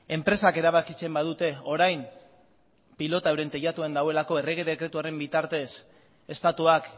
enpresak erabakitzen badute orain pilota euren teilatuan dagoelako errege dekretu horren bitartez estatuak